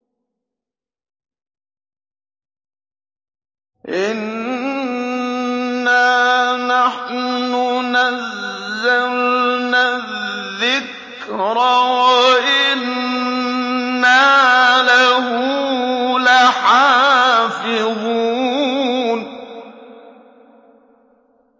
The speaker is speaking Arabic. إِنَّا نَحْنُ نَزَّلْنَا الذِّكْرَ وَإِنَّا لَهُ لَحَافِظُونَ